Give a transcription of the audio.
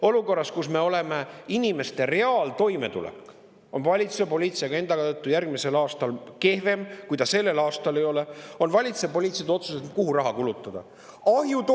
Olukorras, kus me oleme – inimeste reaaltoimetulek on valitsuse poliitilise agenda tõttu järgmisel aastal kehvem, kui ta juba sellel aastal ei ole –, on valitsuse poliitilised otsused, kuhu raha kulutada.